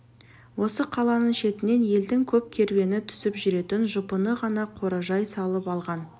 осы қаланың шетінен елдің көп керуені түсіп жүретін жұпыны ғана қоражай салып алған